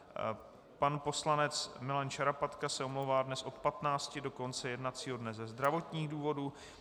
Pan poslanec Milan Šarapatka se omlouvá dnes od 15 do konce jednacího dne ze zdravotních důvodů.